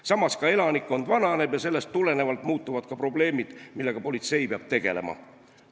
Samas, elanikkond vananeb ja seetõttu muutuvad ka probleemid, millega politsei peab tegelema.